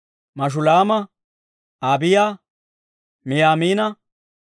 Mashulaama, Abiiya, Miyamiina,